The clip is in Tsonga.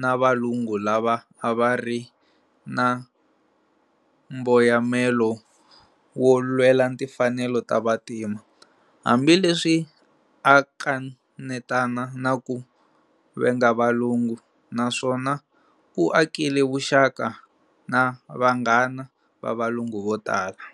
na valungu lava avari namboyamelo wo lwela timfanelo ta vantima, hambi leswi a akanetana na ku venga valungu, naswona u akile vuxaka na vanghana va valungu votala.